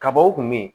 Kabaw kun bɛ yen